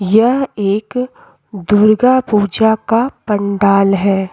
यह एक दुर्गा पूजा का पंडाल है।